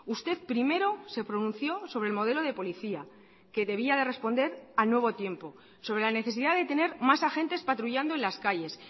usted primero se pronunció sobre el modelo de policía que debía de responder al nuevo tiempo sobre la necesidad de tener más agentes patrullando en las calles